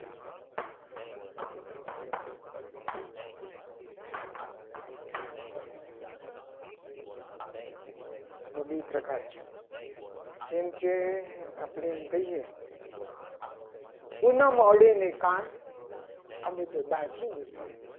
આ બે પ્રકાર છે. જેમ કે આપણે એમ કહીએ. ના માંડીને કાન અમે તો દાજી મળીએ.